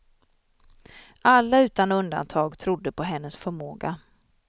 Alla utan undantag trodde på hennes förmåga.